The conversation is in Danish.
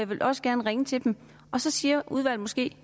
vil også gerne ringe til dem og så siger udvalget måske